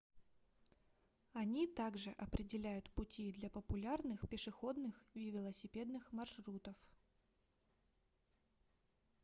они также определяют пути для популярных пешеходных и велосипедных маршрутов